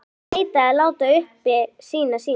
Kalli neitaði að láta uppi sínar sýnir.